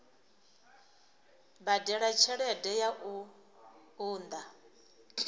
badela tshelede ya u unḓa